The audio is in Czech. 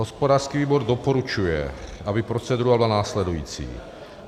Hospodářský výbor doporučuje, aby procedura byla následující.